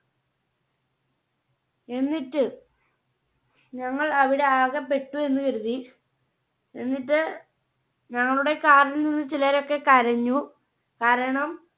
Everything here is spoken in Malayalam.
എന്നിട്ട് ഞങ്ങൾ അവിടെ ആകെ പെട്ടു എന്ന് കരുതി. എന്നിട്ട് ഞങ്ങളുടെ Car ൽ നിന്ന് ചിലരൊക്കെ കരഞ്ഞു കാരണം,